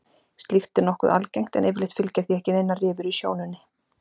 Slíkt er nokkuð algengt en yfirleitt fylgja því ekki neinar rifur í sjónunni.